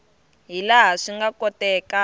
hi laha swi nga kotekaka